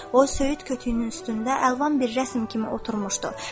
O söyüd kötüüyünün üstündə əlvan bir rəsm kimi oturmuşdu.